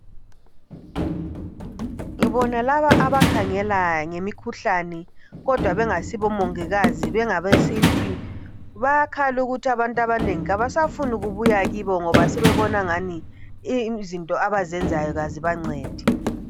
Ngibona laba abakhangela ngemikhuhlane bengasibo omongikazi bengabesintu. Bayakhala ukuthi abantu abanengi abasafuni kubuya kibo ngoba sebebona angani imithi yabo ayisebenzi.